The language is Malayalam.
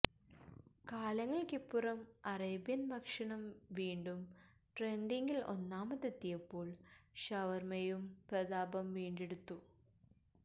കാലങ്ങള്ക്കിപ്പുറം അറേബ്യൻ ഭക്ഷണം വീണ്ടും ട്രെന്ഡിങ്ങില് ഒന്നാമതെത്തിയപ്പോള് ഷവര്മ്മയും പ്രതാപം വീണ്ടെടുത്തു